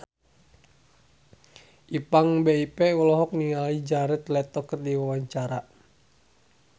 Ipank BIP olohok ningali Jared Leto keur diwawancara